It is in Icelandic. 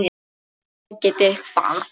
halló getiði hvað?